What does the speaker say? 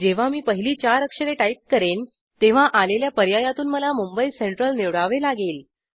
जेव्हा मी पहिली चार अक्षरे टाईप करेन तेव्हा आलेल्या पर्यायातून मला मुंबई सेंट्रल निवडावे लागेल